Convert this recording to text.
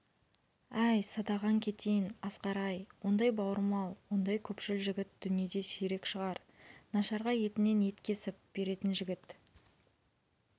әй садағаң кетейін асқар-ай ондай бауырмал ондай көпшіл жігіт дүниеде сирек шығар нашарға етінен ет кесіп беретін жігіт